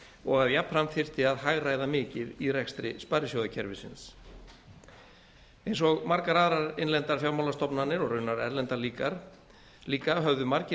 og að jafnframt þyrfti að hagræða mikið í rekstri sparisjóðakerfisins eins og margar aðrar innlendar fjármálastofnanir og raunar erlendar líka höfðu margir